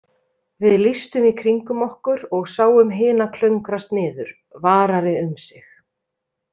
Við lýstum í kringum okkur og sáum hina klöngrast niður, varari um sig.